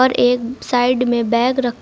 एक साइड में बैग रख--